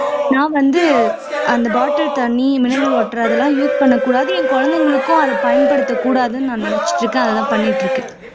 நான் வந்து அந்த bottle தண்ணி mineral water இதெல்லாம் use பண்ணக்கூடாது என் குழந்தைகளுக்கும் அதை பயன்படுத்தக்கூடதுன்னு நினைச்சுட்டு இருக்கேன் அதைதான் பண்ணிட்டு இருக்கேன்